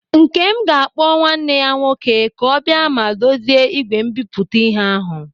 Ńkém ga-akpọ nwanne ya nwoke kà ọ bịa ma dozie ígwè mbipụta ịhe ahụ.